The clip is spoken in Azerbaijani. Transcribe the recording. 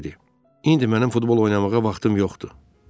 İndi mənim futbol oynamağa vaxtım yoxdur.